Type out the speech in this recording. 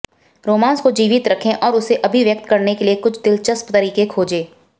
romance को जीवित रखें और उसे अभिव्यक्त करने के कुछ दिलचप्स तरीके खोजें